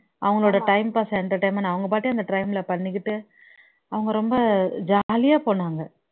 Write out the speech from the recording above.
அவங்களோட time pass entertainment அவங்க பாட்டுக்கு அந்த train ல பண்ணிக்கிட்டு அவங்க ரொம்ப ஜாலியா போனாங்க